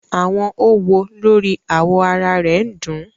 Awọn õwo lori awọ ara rẹ dun un